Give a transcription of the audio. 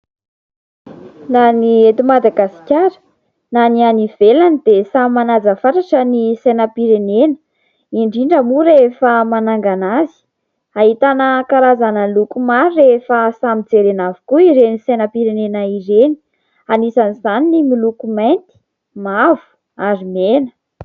Na ny eto Madagasikara na ny any ivelany dia samy manaja fatratra ny sainam-pirenena, indrindra moa rehefa manangana azy. Ahitana karazana loko maro rehefa samy jerena avokoa ireny sainam-pirenena ireny. Anisan'izany ny miloko mainty, mavo ary mena.